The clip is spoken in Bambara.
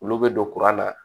Olu bɛ don kuran na